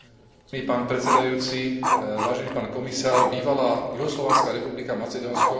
Bývalá juhoslovanská republika Macedónsko už dlhší čas prejavuje záujem o vstup do Európskej únie.